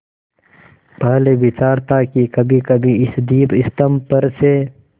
पहले विचार था कि कभीकभी इस दीपस्तंभ पर से